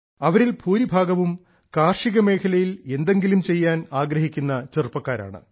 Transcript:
അവരിൽ ഭൂരിഭാഗവും കാർഷികമേഖലയിൽ എന്തെങ്കിലും ചെയ്യാൻ ആഗ്രഹിക്കുന്ന ചെറുപ്പക്കാരാണ്